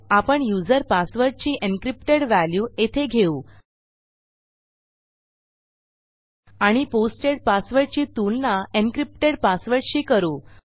आपण युजर पासवर्डची encrypted value येथे घेऊ आणि पोस्टेड पासवर्डची तुलना encryptedपासवर्डशी करू